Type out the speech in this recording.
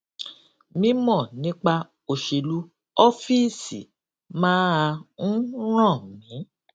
mímọ nípa òṣèlú ọfíìsì máa ń ràn mí